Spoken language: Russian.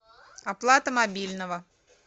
оплата мобильного